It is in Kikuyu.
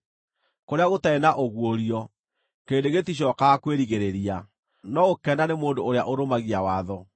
Kũrĩa gũtarĩ na ũguũrio, kĩrĩndĩ gĩticookaga kwĩrigĩrĩria; no gũkena nĩ mũndũ ũrĩa ũrũmagia watho.